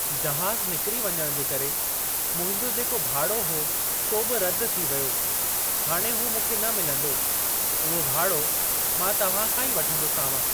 जहाज़ु निकिरी वञण करे मुंहिंजो जेको भाड़ो हो सो बि रदि थी वियो। हाणे हू मूंखे न मिलंदो। उहो भाड़ो मां तव्हां खां ई वठंदोसांव।